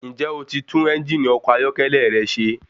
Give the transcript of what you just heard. Ǹjẹ́ o ti tún ẹ́njìnì ọkọ̀ ayọ́kẹ́lẹ́ rẹ ṣe?